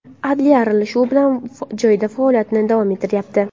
Adliya aralashuvi bilan joyida faoliyatini davom ettiryapti.